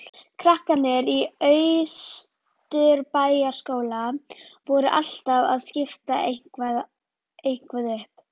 Krakkarnir í Austurbæjarskóla voru alltaf að spinna eitthvað upp.